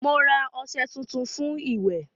Mo ra ọṣẹ tuntun fún ìwẹ̀